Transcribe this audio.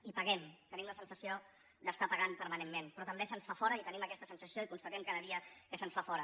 i paguem tenim la sensació d’estar pagant permanentment però també se’ns fa fora i tenim aquesta sensació i constatem cada dia que se’ns fa fora